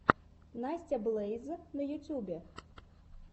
настя блэйз на ютубе